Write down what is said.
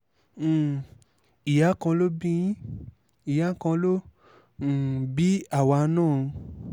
um ìyá kan ló bí yín ìyá kan lọ um bí àwa náà o